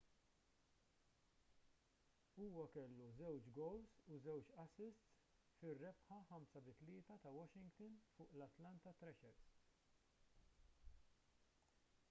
huwa kellu 2 gowls u 2 assists fir-rebħa 5-3 ta' washington fuq l-atlanta thrashers